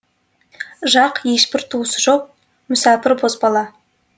жак ешбір туысы жоқ мүсәпір бозбала